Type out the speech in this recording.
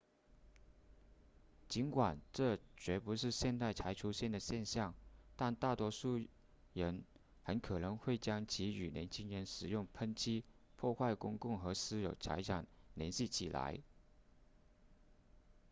尽管这绝不是现代才出现的现象但大多数人很可能会将其与年轻人使用喷漆破坏公共和私有财产联系起来